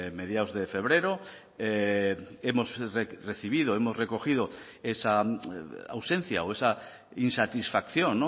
mediados de febrero hemos recibido hemos recogido esa ausencia o esa insatisfacción